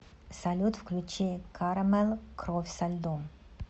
салют включи карамэл кровь со льдом